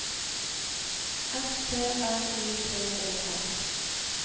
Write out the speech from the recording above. S T R I P E R